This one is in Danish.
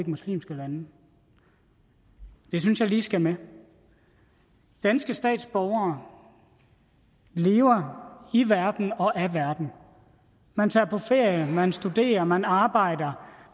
muslimske lande det synes jeg lige skal med danske statsborgere lever i verden og af verden man tager på ferie man studerer man arbejder